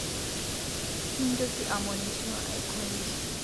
Mintoki amonisho aikonyi